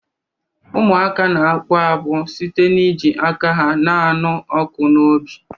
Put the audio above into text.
Ụmụaka na-akpụ akpụ site n'iji aka ha na-anụ ọkụ n'obi